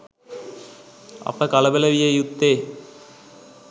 අප කලබල විය යුත්තේ